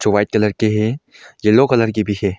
White colour के हैं yellow colour के भी हैं।